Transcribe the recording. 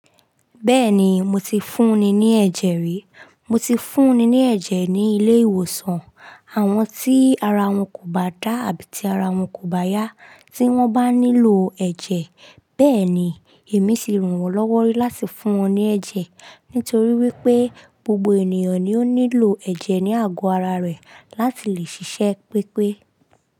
Bẹ́ẹ̀ni, mo ti fún ni ní ẹ̀jẹ̀ rí. Mo ti fún ni ní ẹ̀jẹ̀ ní ilé ìwòsàn. Àwọn tí ara wọn kò bá dá àbí tí ara wọn kò bá yá, tí wọ́n bá nílò ẹ̀jẹ̀, bẹ́ẹ̀ni, èmi ti ràn wọ́n lọ́wọ́ rí láti fún wọn ní ẹ̀jẹ̀. Nítorí wípé gbogbo ènìyàn ni ó nílò ẹ̀jẹ̀ ní àgọ́ ara rẹ̀ láti lè ṣiṣẹ́ pépé.